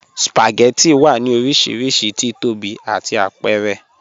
Spagẹttì wà ní orísírísí tíìtọ́bí àti àpẹ̀rẹ̀.